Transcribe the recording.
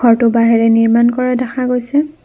ঘৰটো বাঁহেৰে নিৰ্মাণ কৰা দেখা গৈছে।